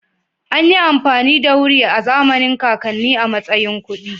Anyi amfani da wuri a zamanin kakannin a matsayin kuɗi